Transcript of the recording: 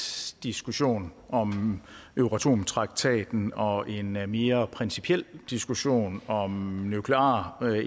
diskussion om euratom traktaten og en mere mere principiel diskussion om nuklear